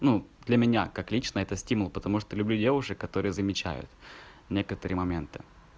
ну для меня как лично это стимул потому что люблю девушек которые замечают некоторые моменты